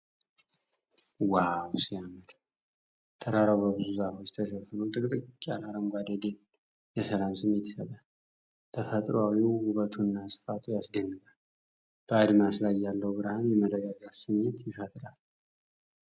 ዋው ሲያምር ! ተራራው በብዙ ዛፎች ተሸፍኖ ። ጥቅጥቅ ያለው አረንጓዴ ደን የሰላም ስሜት ይሰጣል !!። ተፈጥሮአዊ ውበቱና ስፋቱ ያስደንቃል !። በአድማስ ላይ ያለው ብርሃን የመረጋጋት ስሜት ይፈጥራል ።